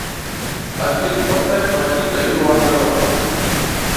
афина поставь пакито ю вонна рок